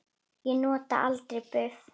Ég nota aldrei buff.